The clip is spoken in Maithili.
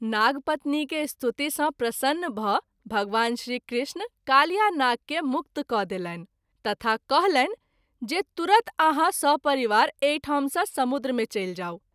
नागपत्नी के स्तुति सँ प्रसन्न भ’ भगवान श्री कृष्ण कालियानाग के मुक्त क’ देलनि तथा कहलनि जे तुरत आहाँ सपरिवार एहि ठाम सँ समुद्र मे चलि जाऊ।